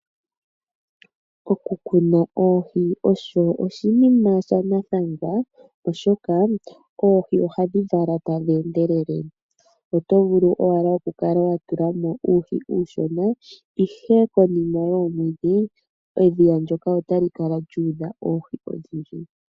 Oku kuna oohi osho oshiima shanathangwa oshoka oohi ohadhi vala tadhi endelele. Otovulu owala oku kala watulamo uuhi uushona ihe konima yoomwedhi edhiya lyoka otali kala lyu udha oohi odhindji.